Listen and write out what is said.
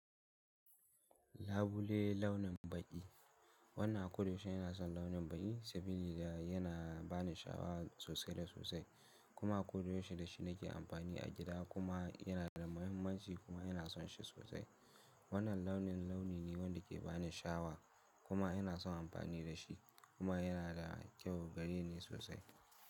Labule launin baƙi. Wannan kodaya yana son launin baƙi saboda yana bani shawara sosai da sosai kuma kodaya da shi nake amfani a gida kuma yana da mahimmanci kuma yana son shi sosai. Wannan launin launi ne wanda ke bani sha'awa kuma ina son amfani da shi kuma yana da kyau gare ni sosai.